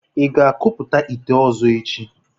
Ị ga-akpụta ite ọzọ echi?